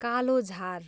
कालोझार